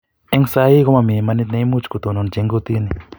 eng sai ko momii imaanit ne imuchi kotononji eng kortini